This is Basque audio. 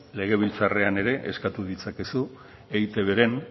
legebiltzarrean ere eskatu ditzakezu eitbren